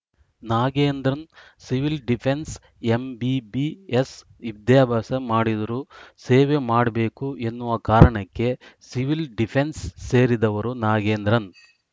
Nagendran civil defence MBBS ವಿದ್ಯಾಭ್ಯಾಸ ಮಾಡಿದ್ರು ಸೇವೆ ಮಾಡ್ಬೇಕು ಎನ್ನುವ ಕಾರಣಕ್ಕೆ ಸಿವಿಲ್‌ ಡಿಫೆನ್ಸ್‌ ಸೇರಿದವರು ನಾಗೇಂದ್ರನ್‌